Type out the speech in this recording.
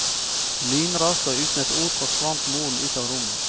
Lynraskt og uten et ord forsvant moren ut av rommet.